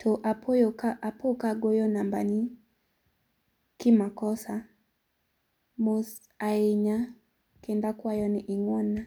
to apo ka apo ka agoyo namba ni ki makosa, mos ahinya kendo akwayo ni ing'won na.